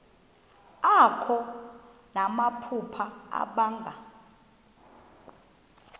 akho namaphupha abanga